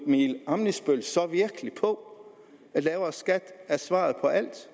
emil ammitzbøll så virkelig på at lavere skat er svaret på alt